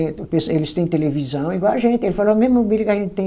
Eles têm televisão igual a gente. Ele falou a mesma mobília que a gente tem